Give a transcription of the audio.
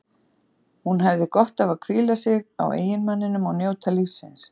Hún hefði gott af að hvíla sig á eiginmanninum og njóta lífsins.